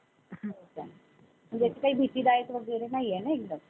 हो का. म्हणजे काही भीतीदायक वगैरे नाही ना एकदम?